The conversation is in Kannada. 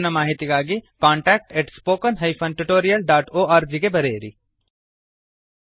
ಹೆಚ್ಚಿನ ಮಾಹಿತಿಗಾಗಿcontactspoken tutorialorg ಗೆ ಬರೆಯಿರಿ